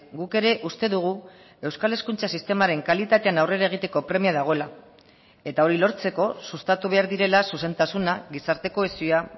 guk ere uste dugu euskal hezkuntza sistemaren kalitatean aurrera egiteko premia dagoela eta hori lortzeko sustatu behar direla zuzentasuna gizarte kohesioa